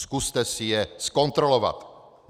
Zkuste si je zkontrolovat.